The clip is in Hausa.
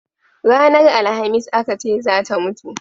Ranar alhamis a Ka ce zata mutu